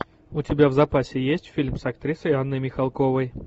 у тебя в запасе есть фильм с актрисой анной михалковой